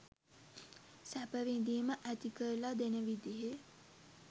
සැප විඳීම ඇති කරල දෙන විදියේ